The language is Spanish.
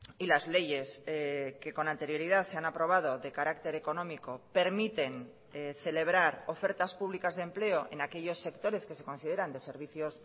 y las leyes que con anterioridad se han aprobado de carácter económico permiten celebrar ofertas públicas de empleo en aquellos sectores que se consideran de servicios